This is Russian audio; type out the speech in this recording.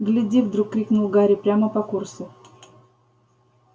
гляди вдруг крикнул гарри прямо по курсу